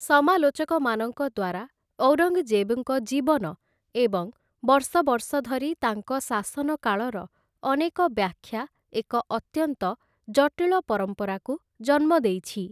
ସମାଲୋଚକମାନଙ୍କ ଦ୍ୱାରା ଔରଙ୍ଗ୍‌ଜେବ୍‌ଙ୍କ ଜୀବନ ଏବଂ ବର୍ଷ ବର୍ଷ ଧରି ତାଙ୍କ ଶାସନ କାଳର ଅନେକ ବ୍ୟାଖ୍ୟା ଏକ ଅତ୍ୟନ୍ତ ଜଟିଳ ପରମ୍ପରାକୁ ଜନ୍ମ ଦେଇଛି ।